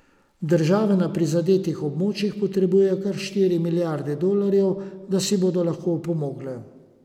Države na prizadetih območjih potrebujejo kar štiri milijarde dolarjev, da si bodo lahko opomogle.